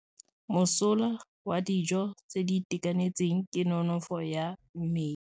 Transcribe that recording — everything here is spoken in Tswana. Mosola wa dijô tse di itekanetseng ke nonôfô ya mmele.